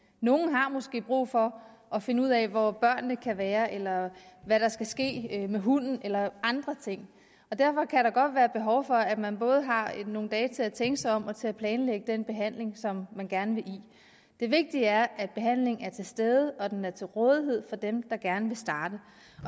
nogle har måske brug for at finde ud af hvor børnene kan være eller hvad der skal ske med hunden eller andre ting og derfor kan der godt være behov for at man både har nogle dage til at tænke sig om og til at planlægge den behandling som man gerne vil i det vigtige er at behandlingen er til stede og at den er til rådighed for dem der gerne vil starte